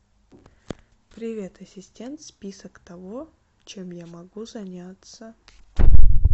привет ассистент список того чем я могу заняться